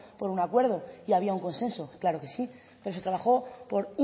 por un acuerdo y había un consenso claro que sí pero se trabajó por